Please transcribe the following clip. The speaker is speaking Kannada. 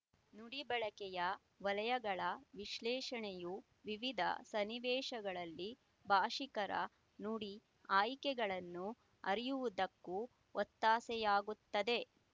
ನುಡಿ ಬಳಕೆಯ ವಲಯಗಳ ವಿಶಲೇಶಣೆಯು ವಿವಿಧ ಸನ್ನಿವೇಶಗಳಲ್ಲಿ ಭಾಶಿಕರ ನುಡಿ ಆಯ್ಕೆಗಳನ್ನು ಅರಿಯುವುದಕ್ಕೂ ಒತ್ತಾಸೆಯಾಗುತ್ತದೆ